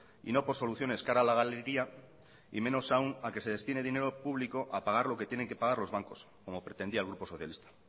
y no por soluciones cara a la galería y menos aún a que se destine dinero público a pagar lo que tienen que pagar los bancos como pretendía el grupo socialista